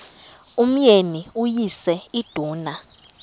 umyeni uyise iduna